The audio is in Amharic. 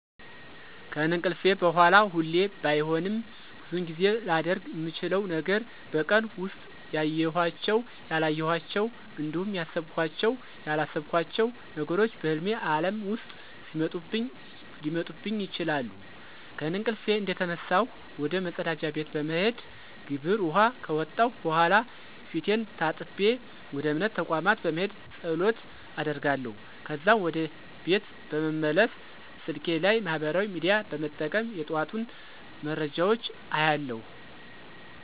ከእንቅልፌ በሗላ ሁሌ ባይሆንም ብዙውን ጊዜ ላደርግ ምችለው ነገር በቀን ውስጥ ያዬኋቸው፣ ያላየኋቸው እንዲሁም ያሰብኳቸው፣ ያላሰብኳቸው ነገሮች በህልሜ ዓለም ውስጥ ሊመጡብኝ ይችላሉ። ከእንቅልፌ እንደተነሳሁ ወደ መፀዳጃ ቤት በመሄድ ግብር ውኃ ከወጣሁ በኃላ ፊቴን ታጥቤ ወደ እምነት ተቋም በመሄድ ፀሎት አደርጋለሁ። ከዛም ወደ ቤት በመመለስ ስልኬ ላይ ማህበራዊ ሚዲያ በመጠቀም የጠዋቱን መረጃዎች አያለሁ።